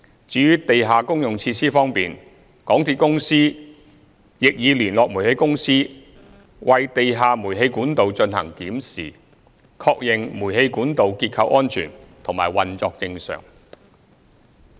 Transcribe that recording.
至於地下公用設施方面，港鐵公司亦已聯絡煤氣公司為地下煤氣管道進行檢視，確認煤氣管道結構安全及運作正常。